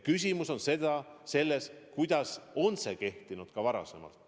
Küsimus on selles, kuidas on see kehtinud varem.